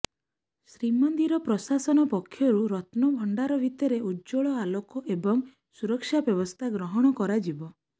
ଶ୍ରୀମନ୍ଦିର ପ୍ରଶାସନ ପକ୍ଷରୁ ରତ୍ନଭଣ୍ଡାର ଭିତରେ ଉଜ୍ଜ୍ୱଳ ଆଲୋକ ଏବଂ ସୁରକ୍ଷା ବ୍ୟବସ୍ଥା ଗ୍ରହଣ କରାଯିବ